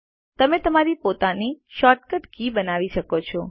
તમે તમારી પોતાની શોર્ટ કટ કીઝ બનાવી શકો છો